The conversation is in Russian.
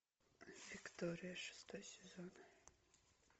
виктория шестой сезон